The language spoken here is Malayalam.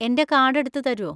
എൻ്റെ കാർഡ് എടുത്ത് തരോ?